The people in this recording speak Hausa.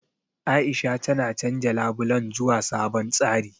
A'isha tana canja labulen zuwa sabon tsari.